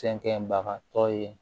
Fɛn kɛbaga tɔ ye